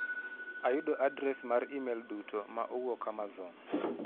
Ayudo adres mar imel duto ma owuok amazon